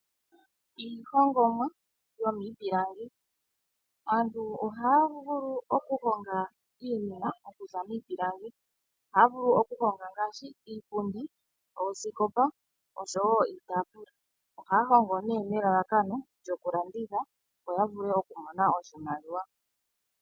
Iilongomwa yomiipilangi antu ohaya vulu okuhonga iinima okuza miipilangi ohaya vulu okuhonga ngaashi iipundi ,oosikopa oshowo iitafula ohaya hongo nee nelalakano lyokulanditha yo ya vule okumona oshimaliwa.